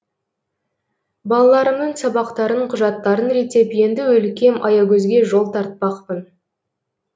балаларымның сабақтарын құжаттарын реттеп енді өлкем аягөзге жол тартпақпын